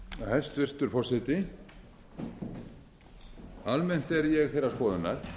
hæstvirtur forseti almennt er ég þeirrar skoðunar